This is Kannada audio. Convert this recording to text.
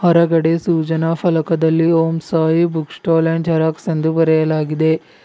ಹೊರಗಡೆ ಸೂಚನಾ ಫಲಕದಲ್ಲಿ Om Sai book stall and xerox ಎಂದು ಬರೆಯಲಾಗಿದೆ.